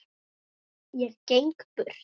Ég geng burt.